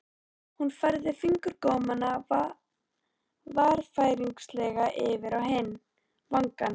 Hún færði fingurgómana varfærnislega yfir á hinn vangann.